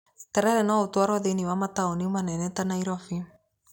Terere no ũtwarwo thĩiniĩ wa mataũni manene ta Nairobi.